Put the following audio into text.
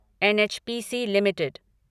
NHPC limited